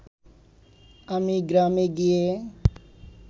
আমি গ্রামে গিয়ে